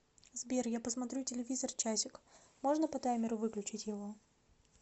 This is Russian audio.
сбер я посмотрю телевизор часик можно по таймеру выключить его